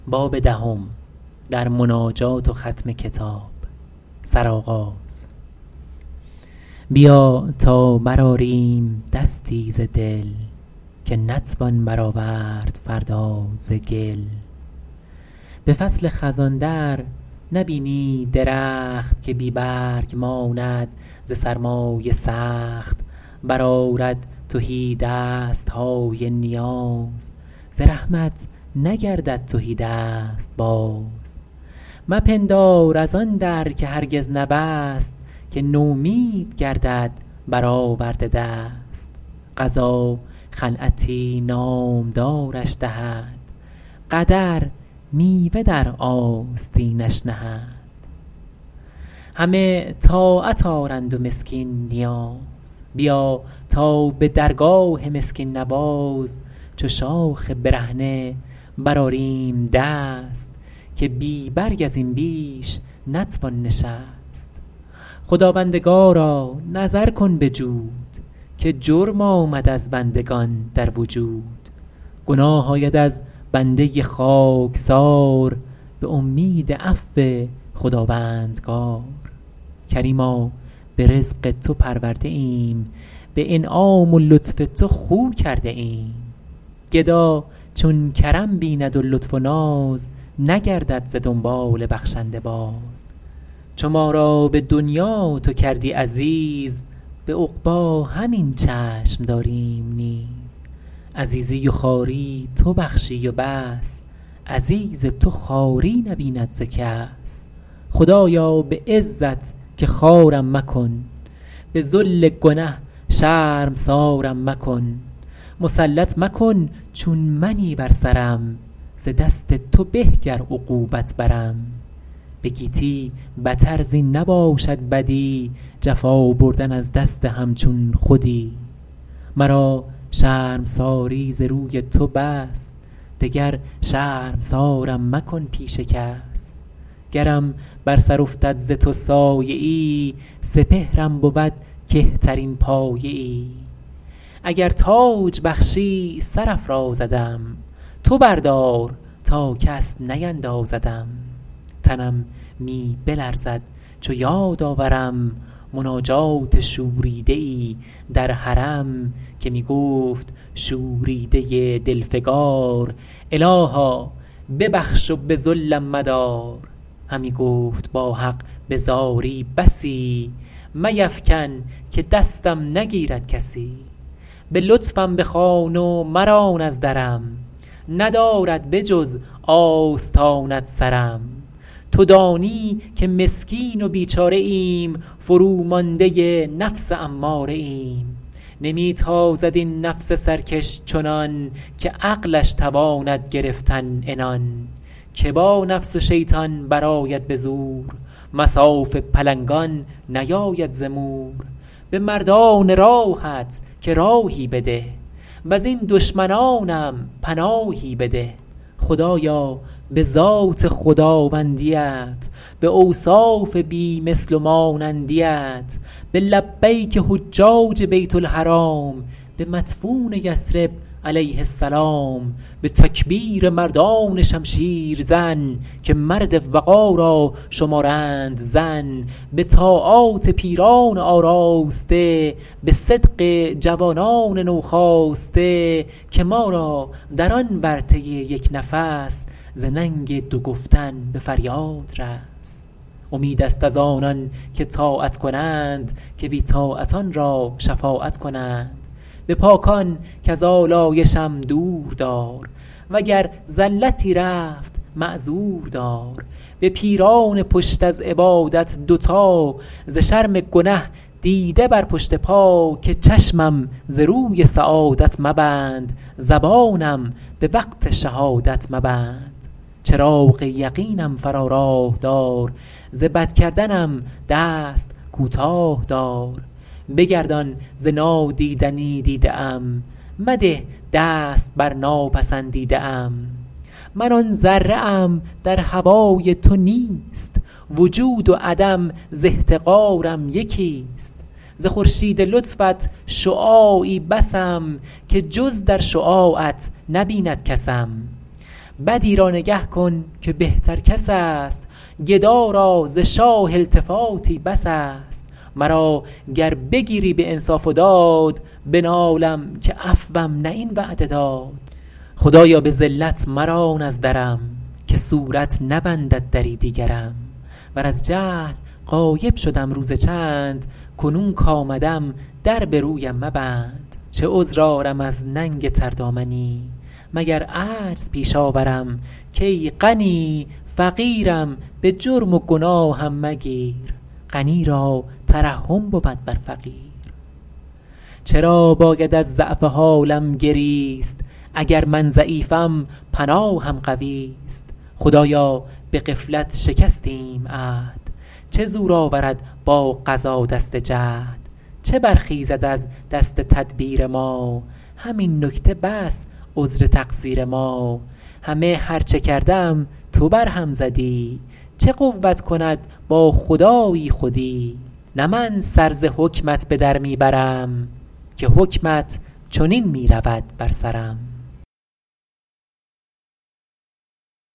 بیا تا برآریم دستی ز دل که نتوان برآورد فردا ز گل به فصل خزان در نبینی درخت که بی برگ ماند ز سرمای سخت برآرد تهی دست های نیاز ز رحمت نگردد تهی دست باز مپندار از آن در که هرگز نبست که نومید گردد بر آورده دست قضا خلعتی نامدارش دهد قدر میوه در آستینش نهد همه طاعت آرند و مسکین نیاز بیا تا به درگاه مسکین نواز چو شاخ برهنه برآریم دست که بی برگ از این بیش نتوان نشست خداوندگارا نظر کن به جود که جرم آمد از بندگان در وجود گناه آید از بنده خاکسار به امید عفو خداوندگار کریما به رزق تو پرورده ایم به انعام و لطف تو خو کرده ایم گدا چون کرم بیند و لطف و ناز نگردد ز دنبال بخشنده باز چو ما را به دنیا تو کردی عزیز به عقبی همین چشم داریم نیز عزیزی و خواری تو بخشی و بس عزیز تو خواری نبیند ز کس خدایا به عزت که خوارم مکن به ذل گنه شرمسارم مکن مسلط مکن چون منی بر سرم ز دست تو به گر عقوبت برم به گیتی بتر زین نباشد بدی جفا بردن از دست همچون خودی مرا شرمساری ز روی تو بس دگر شرمسارم مکن پیش کس گرم بر سر افتد ز تو سایه ای سپهرم بود کهترین پایه ای اگر تاج بخشی سر افرازدم تو بردار تا کس نیندازدم تنم می بلرزد چو یاد آورم مناجات شوریده ای در حرم که می گفت شوریده دل فگار الها ببخش و به ذلم مدار همی گفت با حق به زاری بسی میفکن که دستم نگیرد کسی به لطفم بخوان و مران از درم ندارد به جز آستانت سرم تو دانی که مسکین و بیچاره ایم فرومانده نفس اماره ایم نمی تازد این نفس سرکش چنان که عقلش تواند گرفتن عنان که با نفس و شیطان برآید به زور مصاف پلنگان نیاید ز مور به مردان راهت که راهی بده وز این دشمنانم پناهی بده خدایا به ذات خداوندیت به اوصاف بی مثل و مانندیت به لبیک حجاج بیت الحرام به مدفون یثرب علیه السلام به تکبیر مردان شمشیر زن که مرد وغا را شمارند زن به طاعات پیران آراسته به صدق جوانان نوخاسته که ما را در آن ورطه یک نفس ز ننگ دو گفتن به فریاد رس امید است از آنان که طاعت کنند که بی طاعتان را شفاعت کنند به پاکان کز آلایشم دور دار وگر زلتی رفت معذور دار به پیران پشت از عبادت دوتا ز شرم گنه دیده بر پشت پا که چشمم ز روی سعادت مبند زبانم به وقت شهادت مبند چراغ یقینم فرا راه دار ز بد کردنم دست کوتاه دار بگردان ز نادیدنی دیده ام مده دست بر ناپسندیده ام من آن ذره ام در هوای تو نیست وجود و عدم ز احتقارم یکی است ز خورشید لطفت شعاعی بسم که جز در شعاعت نبیند کسم بدی را نگه کن که بهتر کس است گدا را ز شاه التفاتی بس است مرا گر بگیری به انصاف و داد بنالم که عفوم نه این وعده داد خدایا به ذلت مران از درم که صورت نبندد دری دیگرم ور از جهل غایب شدم روز چند کنون کآمدم در به رویم مبند چه عذر آرم از ننگ تردامنی مگر عجز پیش آورم کای غنی فقیرم به جرم و گناهم مگیر غنی را ترحم بود بر فقیر چرا باید از ضعف حالم گریست اگر من ضعیفم پناهم قویست خدایا به غفلت شکستیم عهد چه زور آورد با قضا دست جهد چه برخیزد از دست تدبیر ما همین نکته بس عذر تقصیر ما همه هر چه کردم تو بر هم زدی چه قوت کند با خدایی خودی نه من سر ز حکمت به در می برم که حکمت چنین می رود بر سرم